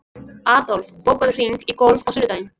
Adolf, bókaðu hring í golf á sunnudaginn.